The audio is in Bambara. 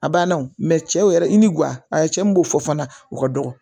A banna wo cɛw yɛrɛ ni kuya cɛ min b'o fɔ fana o ka dɔgɔ